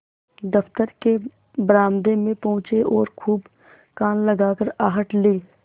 दफ्तर के बरामदे में पहुँचे और खूब कान लगाकर आहट ली